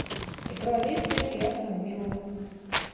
игра лестер и астон вилла